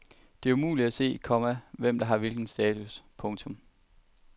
Det er umuligt at se, komma hvem der har hvilken status. punktum